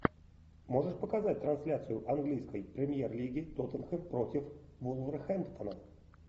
можешь показать трансляцию английской премьер лиги тоттенхэм против вулверхэмптона